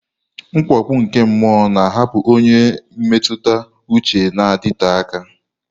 Mwakpo nke mmụọ na-ahapụ ọnyà mmetụta uche na-adịte aka.